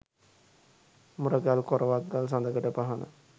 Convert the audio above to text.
මුරගල්, කොරවක් ගල්, සඳකඩ පහණ